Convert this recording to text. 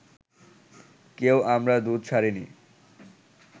কেউ আমরা দুধ ছাড়িনি